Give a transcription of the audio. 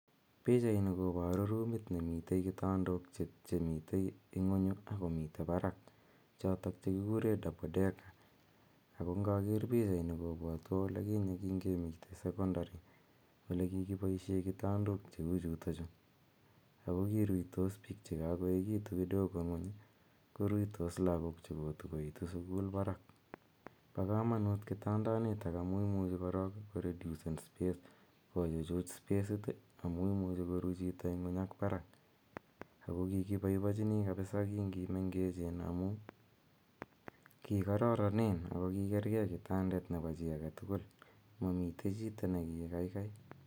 Pichaini koparu rumit nemitei kitandaok che mitei ing, unyu akomitei paraku chekikurei double decker ako ngager pichsini kopwatwa ole kinye kemitei sekondari ole kikipaishe kitandok che u chutachu. Ako kiruitos piik che kakoekitu kidogo ng'uny koruitos lagook che kotukoitu sukul parak. Pa kamanuut kitandanitok amu imuchi korok koredusen space, kochuchut spesit amu imuchi koru chito ng'uny ak parak. Ako kikipaipachini kapisa kingokimengechech amu kikararanen ako kikeregei kitandet nepo chi age tugul, mamoitei chito neki gaigai.